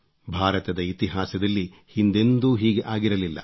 ಭಾರತದ ಇತಿಹಾಸದಲ್ಲಿ ಹಿಂದೆಂದೂ ಹೀಗೆ ಆಗಿರಲಿಲ್ಲ